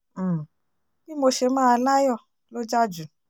um bí mo ṣe máa láyọ̀ ló jà jù